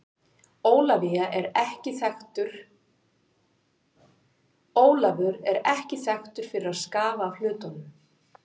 Ólafur er ekki þekktur fyrir að skafa af hlutunum.